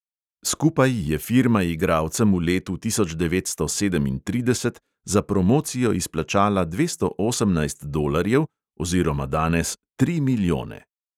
Skupaj je firma igralcem v letu tisoč devetsto sedemintrideset za promocijo izplačala dvesto osemnajst dolarjev oziroma danes tri milijone!